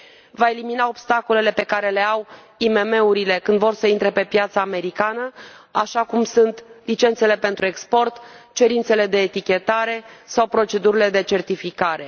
Va elimina obstacolele pe care le au IMM urile când vor să intre pe piața americană, așa cum sunt licențele pentru export, cerințele de etichetare sau procedurile de certificare.